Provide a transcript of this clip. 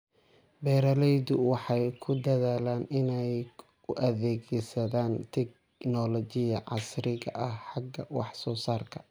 Beeraleydu waxay ku dadaalaan inay u adeegsadaan tignoolajiyada casriga ah xagga wax soo saarka.